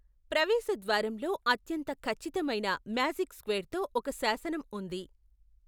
ప్రవేశ ద్వారంలో అత్యంత ఖచ్చితమైన మ్యాజిక్ స్క్వేర్తో ఒక శాసనం ఉంది.